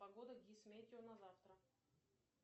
погода гисметео на завтра